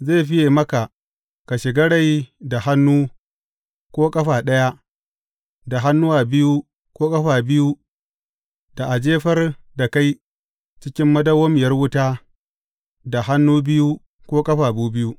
Zai fiye maka ka shiga rai da hannu ko ƙafa ɗaya da hannuwa biyu ko ƙafafu biyu da a jefar da kai cikin madawwamiyar wuta da hannuwa biyu ko ƙafafu biyu.